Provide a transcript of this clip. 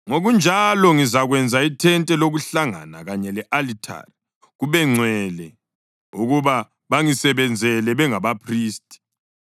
Ngokunjalo ngizakwenza ithente lokuhlangana kanye le-alithari kube ngcwele ukuba bangisebenzele bengabaphristi.